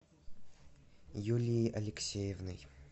юлией алексеевной